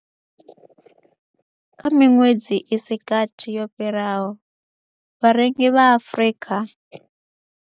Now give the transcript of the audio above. Kha miṅwedzi i si gathi yo fhiraho, vharengi vha Afrika.